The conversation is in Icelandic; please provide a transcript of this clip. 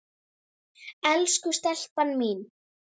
Elsku stelpan mín.